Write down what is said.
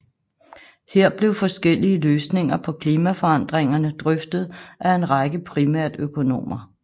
Her blev forskellige løsninger på klimaforandringerne drøftet af en række primært økonomer